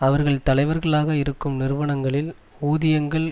அவர்கள் தலைவர்களாக இருக்கும் நிறுவனங்களில் ஊதியங்கள்